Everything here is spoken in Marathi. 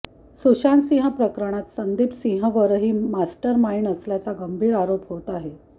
सुशांतसिंह प्रकरणात संदीप सिंहवरही मास्टरमाईंड असल्याचा गंभीर आरोप होत आहे